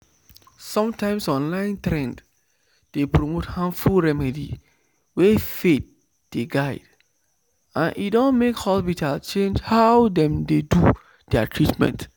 sometimes online trend dey promote harmful remedy wey faith dey guide and e don make hospital change how dem dey do their treatment."